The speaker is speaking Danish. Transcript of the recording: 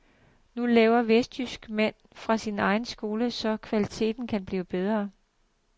Nu laver vestjysk mand sin egen skole så kvaliteten kan blive bedre.